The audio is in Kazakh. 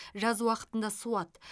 жаз уақытында суат